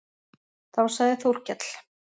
Þá sagði Þórkell